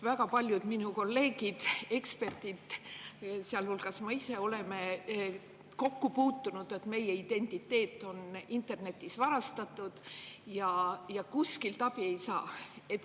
Väga paljud minu kolleegid, eksperdid, sealhulgas ma ise, on kokku puutunud sellega, et meie identiteet on internetis varastatud ja kuskilt abi ei saa.